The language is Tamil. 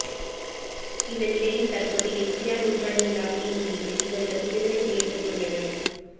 இந்த நிலையில் தற்போது எம்ஜிஆர் நூற்றாண்டு விழாவினை முன்னிட்டு இவர்கள் விடுதலை செய்யப்பட்டு உள்ளனர்